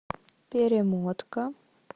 перемотка